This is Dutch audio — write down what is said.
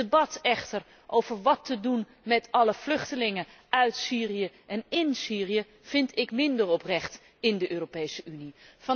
Het debat echter over wat te doen met alle vluchtelingen uit Syrië en ín Syrië, vind ik minder oprecht in de Europese Unie.